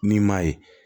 Ni maa ye